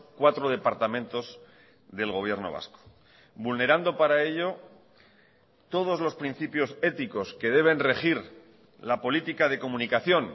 cuatro departamentos del gobierno vasco vulnerando para ello todos los principios éticos que deben regir la política de comunicación